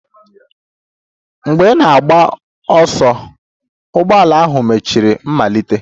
Mgbe ị na-agba ọsọ, ụgbọala ahụ mechara malite.